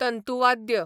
तंतूवाद्य